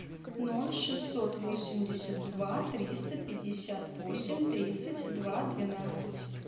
ноль шестьсот восемьдесят два триста пятьдесят восемь тридцать два двенадцать